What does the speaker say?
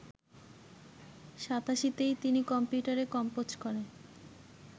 ৮৭তেই তিনি কম্পিউটারে কম্পোজ করে